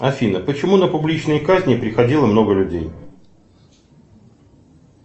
афина почему на публичные казни приходило много людей